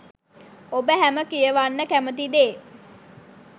ඔබ හැම කියවන්න කැමති දේ